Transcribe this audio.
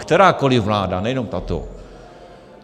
Kterákoli vláda, nejenom tato.